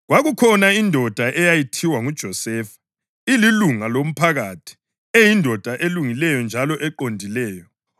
Kwakukhona indoda eyayithiwa nguJosefa, elilunga loMphakathi, eyindoda elungileyo njalo eqondileyo,